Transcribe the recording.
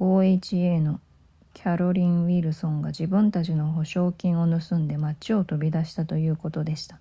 oha のキャロリンウィルソンが自分たちの保証金を盗んで町を飛び出したということでした